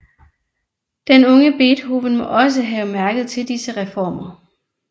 Den unge Beethoven må også have mærket til disse reformer